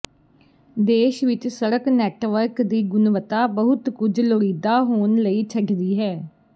ਦੇਸ਼ ਵਿਚ ਸੜਕ ਨੈੱਟਵਰਕ ਦੀ ਗੁਣਵੱਤਾ ਬਹੁਤ ਕੁਝ ਲੋੜੀਦੀ ਹੋਣ ਲਈ ਛੱਡਦੀ ਹੈ